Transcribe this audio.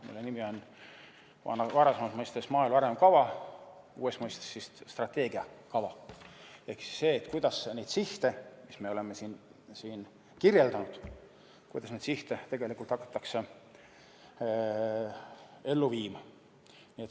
Selle nimi on varasemas mõistes maaelu arengukava, uues mõistes strateegiakava ehk see, kuidas neid sihte, mis me oleme siin kirjeldanud, kuidas neid sihte tegelikult hakatakse ellu viima.